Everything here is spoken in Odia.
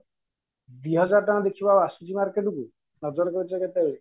ଦିହଜାର ଟଙ୍କା ଦେଖିବ ଆଉ ଆସୁଚି market କୁ ନଜର କରିଚ କେତେବେଳେ